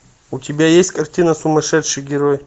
у тебя есть картина сумасшедший герой